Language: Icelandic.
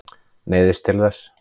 Neyðist til þess.